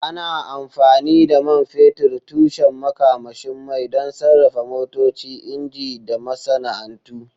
Ana amfani da man fetur, tushen makamashin mai, don sarrafa motoci, inji, da masana'antu.